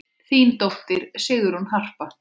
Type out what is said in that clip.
Þín dóttir, Sigrún Harpa.